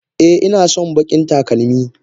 Eh inason bakin talakmi.